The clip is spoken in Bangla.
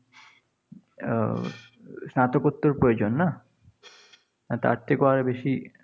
আহ স্নাতকোত্তর প্রয়োজন না? তার থেকেও আরও বেশি